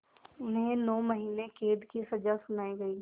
उन्हें नौ महीने क़ैद की सज़ा सुनाई गई